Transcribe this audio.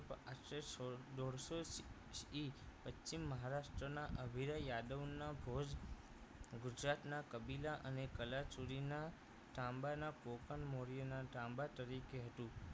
આશરે સોળ દોઢસો થી પશ્ચિમ મહારાષ્ટ્રના અભિરાવ યાદવના ભોજ ગુજરાતના કભિદા અને કલાચૂરીના તાંબાના પોકણ મૌર્યના તાંબા તરીકે હેતુ